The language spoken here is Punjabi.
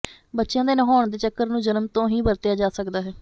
ਬੱਚਿਆਂ ਦੇ ਨਹਾਉਣ ਦੇ ਚੱਕਰ ਨੂੰ ਜਨਮ ਤੋਂ ਹੀ ਵਰਤਿਆ ਜਾ ਸਕਦਾ ਹੈ